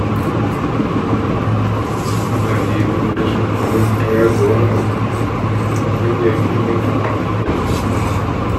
Ana iya Nuna rashin goyon baya ga wani abu ta hanyar ƙin amfani da shi.